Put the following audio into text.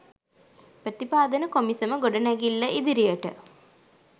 ප්‍රතිපාදන කොමිසම ගොඩනැගිල්ල ඉදිරියට